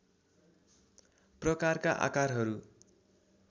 प्रकारका आकारहरू